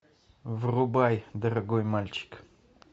врубай дорогой мальчик